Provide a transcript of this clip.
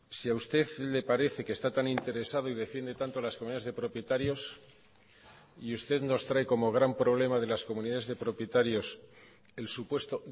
si a usted le parece que está tan interesado y defiende tanto las comunidades de propietarios y usted nos trae como gran problema de las comunidades de propietarios el supuesto